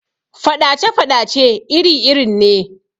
Faɗace-faɗace iri irin ne